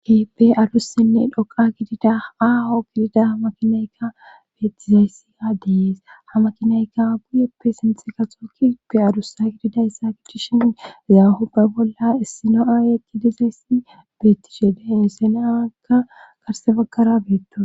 Keehippe adussenne dhoqa gidida aaho gidida hamakinaykka beettizayssi adeyees ha makinaykka buyeppe sinte kaxo ki be adusa gididayssa gidishin zaahupbe bolla issino7aaye gidizayssi beettisheda insenaaakka garsebaggara beettosona